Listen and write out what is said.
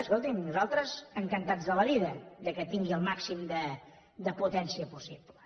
escolti’m nosaltres encantats de la vida que tingui el màxim de potència possible